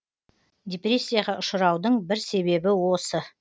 депрессияға ұшыраудың бір себебі осы